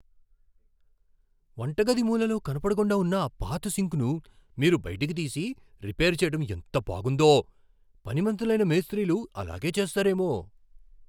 వంటగది మూలలో కనపడకుండా ఉన్న ఆ పాత సింక్ను మీరు బయటికి తీసి, రిపేర్ చేయటం ఎంత బాగుందో. పనిమంతులైన మేస్త్రీలు అలాగే చేస్తారేమో.